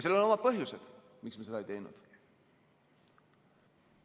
Sellel on omad põhjused, miks me seda ei teinud.